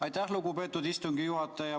Aitäh, lugupeetud istungi juhataja!